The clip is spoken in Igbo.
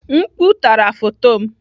Mkpu tara foto m.